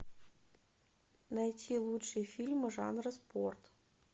найти лучшие фильмы жанра спорт